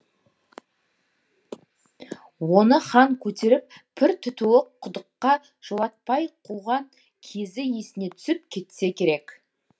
оны хан көтеріп пір тұтуы құдыққа жолатпай қуған кезі есіне түсіп кетсе керек